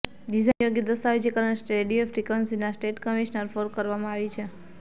design યોગ્ય દસ્તાવેજીકરણ radio ફ્રિક્વન્સીના સ્ટેટ કમિશન ફોર કરવામાં આવી છે